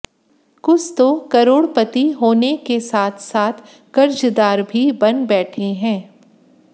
कुछ तो करोड़पति होने के साथ साथ कर्जदार भी बन बैठे हैं